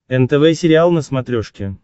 нтв сериал на смотрешке